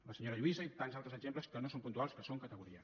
la senyora lluïsa i tants altres exemples que no són puntuals que són categoria